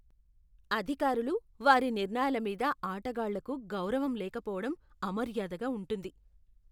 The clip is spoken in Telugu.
అధికారులు, వారి నిర్ణయాల మీద ఆటగాళ్లకు గౌరవం లేకపోవడం అమర్యాదగా ఉంటుంది.